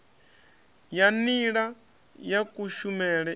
ya nila ya kushumele i